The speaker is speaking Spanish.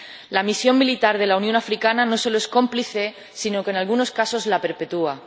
La Misión militar de la Unión Africana no solo es cómplice sino que, en algunos casos, la perpetúa.